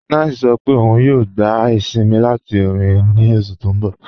9ice sọ̀ pé ọun yòò gbà isìnmí láti orin ní oṣù tí n bọ̀.